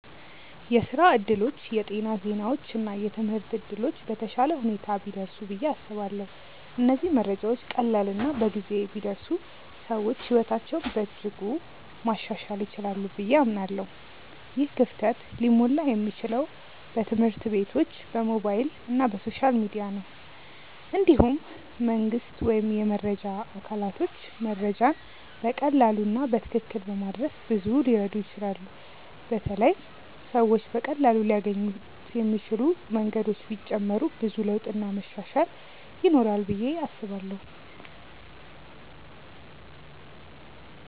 የስራ እድሎች፣ የጤና ዜናዎች እና የትምህርት እድሎች በተሻለ ሁኔታ ቢደርሱ ብዬ አስባለሁ። እነዚህ መረጃዎች ቀላል እና በጊዜ ቢደርሱ ሰዎች ሕይወታቸውን በእጅጉ ማሻሻል ይችላሉ ብዬ አምናለሁ። ይህ ክፍተት ሊሞላ የሚችለው በትምህርት ቤቶች፣ በሞባይል እና በሶሻል ሚዲያ ነው። እንዲሁም መንግስት ወይም የመረጃ አካላቶች መረጃን በቀላሉ እና በትክክል በማድረስ ብዙ ሊረዱ ይችላሉ በተለይ ሰዎች በቀላሉ ሊያገኙት የሚችሉ መንገዶች ቢጨመሩ ብዙ ለውጥ እና መሻሻል ይኖራል ብዬ አስባለው።